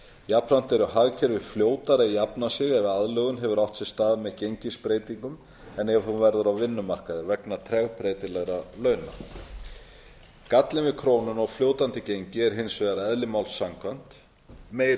jafnframt eru hagkerfi fljótari að jafna sig ef aðlögun hefur átt sér stað með gengisbreytingum en ef hún verður á vinnumarkaði vegna tregbreytileika launa gallinn við krónuna og fljótandi gengi er hins vegar eðli máls samkvæmt meiri